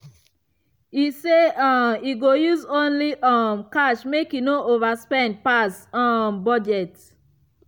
e say um e go use only um cash make e no overspend pass um budget.